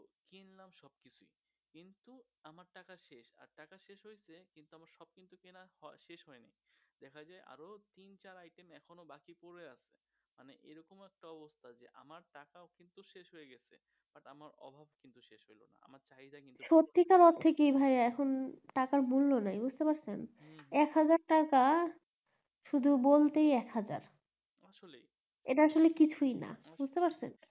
সত্যিকারের ঠিকই ভাইয়া এখন টাকার মূল্য নাই বুঝতে পারছেন এক হাজার টাকা শুধু বলতেই এক হাজার এটা আসলে কিছুই না বুজতে পারছেন